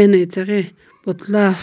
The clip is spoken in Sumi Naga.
eno itaghi potla.